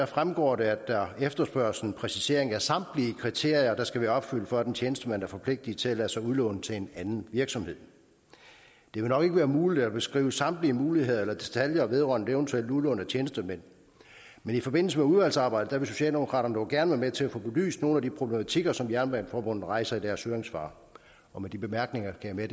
fremgår det at der efterspørges en præcisering af samtlige kriterier der skal være opfyldt for at en tjenestemand er forpligtet til at lade sig udlåne til en anden virksomhed det vil nok ikke være muligt at beskrive samtlige muligheder eller detaljer vedrørende et eventuelt udlån af tjenestemænd men i forbindelse med udvalgsarbejdet vil socialdemokraterne dog gerne være med til at få belyst nogle af de problematikker som dansk jernbaneforbund rejser i deres høringssvar med de bemærkninger kan jeg